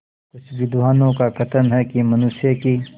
कुछ विद्वानों का कथन है कि मनुष्य की